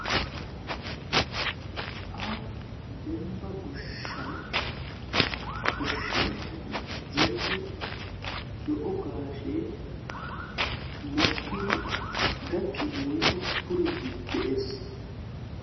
aaho demba goshshan goshshanchati zerido zo'o gaashee mokkidi gakiidi puriidi de'ees.